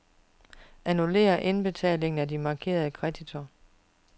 Annullér indbetalingen til de markerede kreditorer.